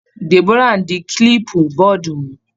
Deborah ń di kílípú bọọ̀dù mú.